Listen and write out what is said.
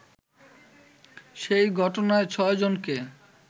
সেই ঘটনায় ছয়জনকে